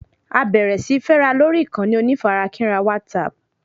A bẹ̀rẹ̀ síí fẹ́ra lórí ìkànnì onífarakínra WhatsApp